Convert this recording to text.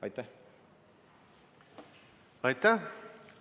Aitäh!